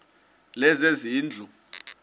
lezezindlu